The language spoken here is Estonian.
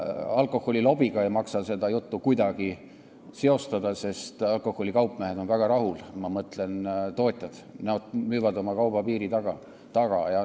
Alkoholilobiga ei maksa seda kuidagi seostada, sest alkoholitootjad on väga rahul, nad müüvad oma kauba piiri taga maha.